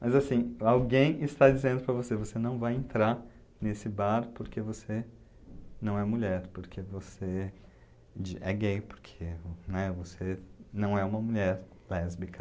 Mas, assim, alguém está dizendo para você, você não vai entrar nesse bar porque você não é mulher, porque você, de, é gay, porque, né, você não é uma mulher lésbica.